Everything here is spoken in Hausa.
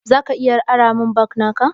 Zaka iya ranta min jack naka?